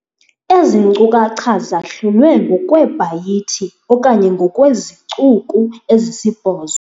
Ezi nkcukacha zahlulwe ngokweebhayithi okanye ngokweezicuku ezisibhozo.